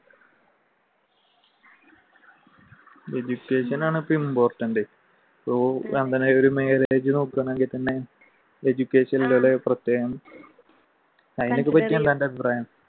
education ആണ് അപ്പൊ important marriage നോക്കുന്നെങ്കിൽ തന്നെ education നോട് പ്രത്യേകം